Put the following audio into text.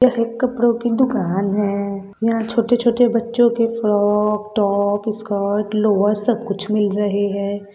यह एक कपड़ों की दुकान है यहाँ छोटे-छोटे बच्चों के फ्रॉक टॉप स्कर्ट लोअर सब कुछ मिल रहे हैं।